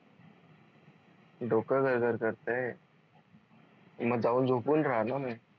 डोक गर गर करतय मग जाऊन झोपून राहा ना मग